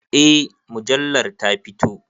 Eh mujallar ta fito.